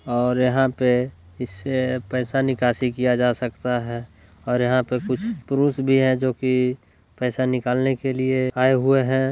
और यहाँ पे इसे पैसा निकासी किया जा सकता है और यहाँ पे कुछ पुरुष भी हैं जो की पैसा निकालने के लिए आये हुए हैं।